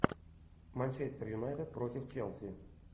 манчестер юнайтед против челси